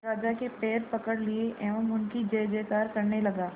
राजा के पैर पकड़ लिए एवं उनकी जय जयकार करने लगा